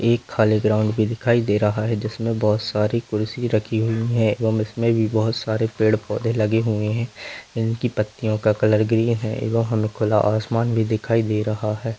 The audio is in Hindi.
एक खाली ग्राउन्ड भी दिखाई दे रहा है जिसमे बहुत सारी कुर्सी रखी हुई है एवं इसमे बहुत सारे पेड़-पौधे लगे हुए है इनकी पत्तियों का कलर ग्रीन है एवं हमे खुला आसमान भी दिखाई दे रहा है।